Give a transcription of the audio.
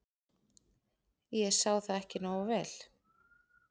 ég sá það ekki nógu vel.